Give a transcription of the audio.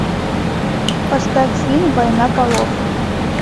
поставь фильм война полов